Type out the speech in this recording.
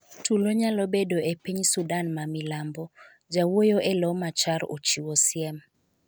Tulo nyalo bedo e piny Sudan ma milambo, jawuoyo elo Machar ochiwo siem